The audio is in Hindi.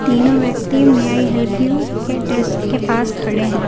तीनों व्यक्ति मे आई हेल्प यू के डेस्क के पास खड़े हैं।